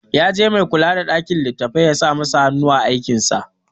Ya je mai kula da ɗakin littattafai ya sa masa hanu a aikinsa.